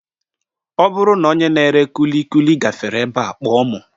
Ọ bụrụ na onye na-ere kulikuli gafere ebe a kpọọ m